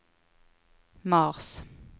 mars